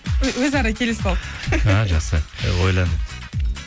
өзара келісіп алып і жақсы ойлан